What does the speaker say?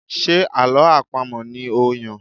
Ṣe àlọ́ àpamọ̀ ni ó Yàn?